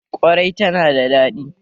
ƙwarai tana da daɗi.